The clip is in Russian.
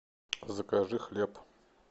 закажи хлеб